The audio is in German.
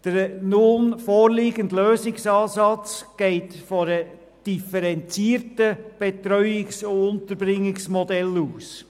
Der nun vorliegende Lösungsansatz geht von einem differenzierten Betreuungs- und Unterbringungsmodell aus.